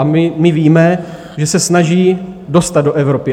A my víme, že se snaží dostat do Evropy.